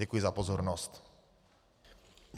Děkuji za pozornost.